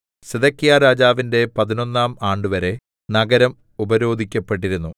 സിദെക്കീയാരാജാവിന്റെ പതിനൊന്നാം ആണ്ടുവരെ നഗരം ഉപരോധിക്കപ്പെട്ടിരുന്നു